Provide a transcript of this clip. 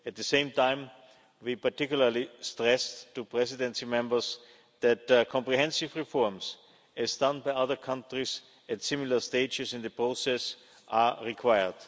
At the same time, we particularly stressed to Presidency members that comprehensive reforms, as done by other countries at similar stages in the process, are required.